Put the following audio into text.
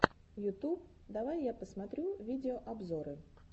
ютуб давай я посмотрю видеообзоры